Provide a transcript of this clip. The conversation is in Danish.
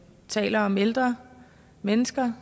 taler om ældre mennesker